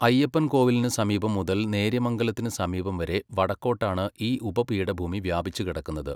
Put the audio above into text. അയ്യപ്പൻകോവിലിനു സമീപം മുതൽ നേര്യമംഗലത്തിനു സമീപം വരെ വടക്കോട്ടാണ് ഈ ഉപപീഠഭൂമി വ്യാപിച്ചുകിടക്കുന്നത്.